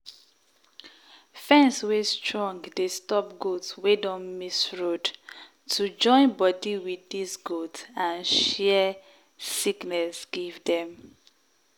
fence wey strong dey stop goat wey don miss road to join body with dis goat and share sickness give dem.